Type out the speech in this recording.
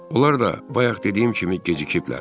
Onlar da bayaq dediyim kimi gecikiblər.